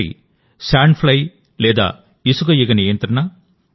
ఒకటి sand fly లేదా ఇసుక ఈగ నియంత్రణ